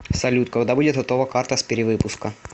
салют когда будет готова карта с перевыпуска